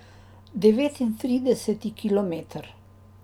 Devetintrideseti kilometer.